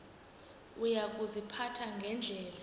uya kuziphatha ngendlela